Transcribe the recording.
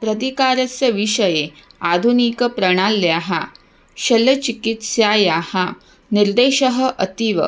प्रतीकारस्य विषये आधुनिकप्रणाल्याः शल्यचिकित्सायाः निर्देशः अतीव